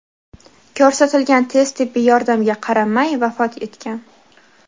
ko‘rsatilgan tez tibbiy yordamga qaramay vafot etgan.